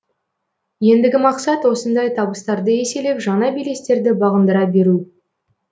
ендігі мақсат осындай табыстарды еселеп жаңа белестерді бағындыра беру